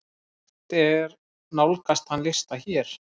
Hægt er nálgast þann lista hér.